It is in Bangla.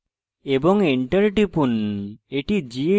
এবং enter টিপুন